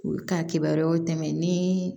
U ka kibaruyaw tɛmɛ ni